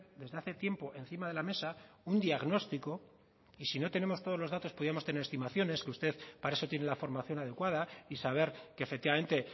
desde hace tiempo encima de la mesa un diagnóstico y si no tenemos todos los datos podíamos tener estimaciones que usted para eso tiene la formación adecuada y saber que efectivamente